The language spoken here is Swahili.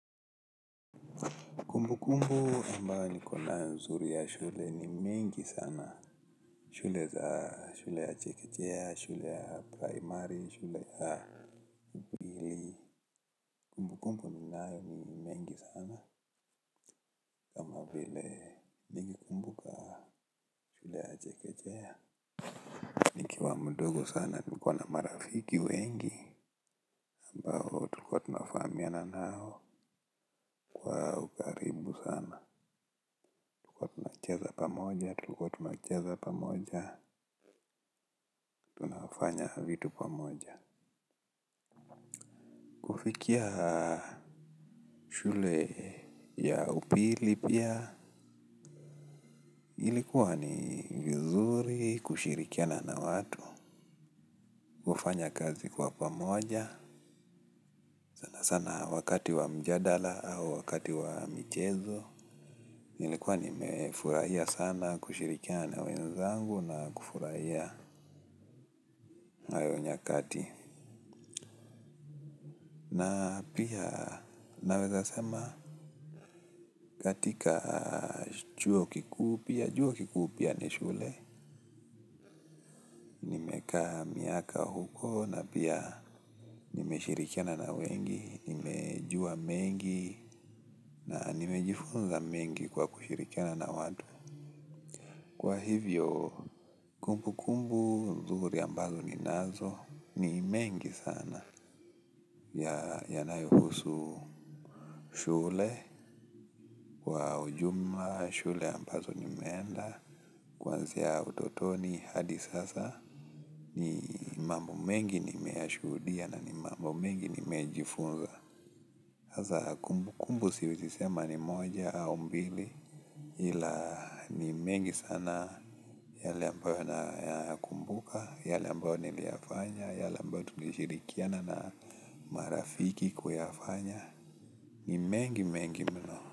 Kumbukumbu ambayo nikonayo mzuri ya shule ni mingi sana. Shule za shule ya chekechea, shule ya primary, shule ya nayo ni mengi sana. Kama vile nikikumbuka shule ya chekechea. Nikiwa mdogo sana nilikuwa na marafiki wengi. Ambao tulikuwa tunafahamiana nao kwa ukaribu sana. Moja tulikuwa tunacheza pamoja, tunafanya vitu pamoja. Kufikia shule ya upili pia ilikuwa ni vizuri kushirikiana na watu kufanya kazi kwa pamoja sana sana wakati wa mjadala au wakati wa mchezo ilikuwa nimefurahia sana kushirikiana na wenzangu na kufurahia na hiyo nyakati na pia naweza sema katika chuo kikuu, chuo kikuu pia ni shule nimekaa miaka huko na pia nimeshirikiana na wengi nimejua mengi na nimejifunza mengi kwa kushirikiana na watu kwa hivyo kumbu kumbu nzuri ambazo ninazo ni mengi sana yanayohusu shule kwa ujumla shule ambazo nimeenda kwanzia utotoni hadi sasa ni mambo mengi nimeyashuhudia na ni mambo mengi nimejifunza hasa kumbu kumbu siwezi sema ni moja au mbili ila ni mengi sana yale ambayo nayakumbuka yale ambayo niliyafanya yale ambayo tulishirikiana na marafiki kuyafanya ni mengi mengi mno.